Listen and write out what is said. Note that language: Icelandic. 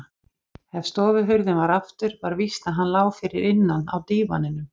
ef stofuhurðin var aftur var víst að hann lá fyrir innan á dívaninum.